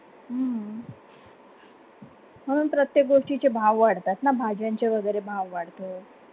हून प्रत्येक गोष्टीचे भाव वाढतात. न भाज्यांचे वगैरे भाव वाढतो